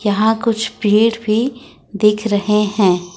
यहां कुछ पेड़ भी देख रहे हैं।